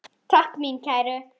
Takk mín kæru.